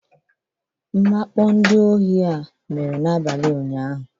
Mwakpo ndị ohi a mere n'abalị ụnyahụ